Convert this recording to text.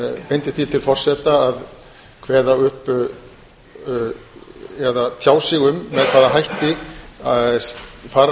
beindi því til forseta að kveða upp eða tjá sig um með hvaða hætti fara